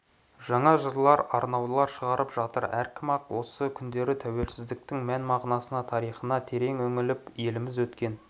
жаңа жырлар арнаулар шығарып жатыр әркім-ақ осы күндері тәуелсіздіктің мән-мағынасына тарихына терең үңіліп еліміз өткен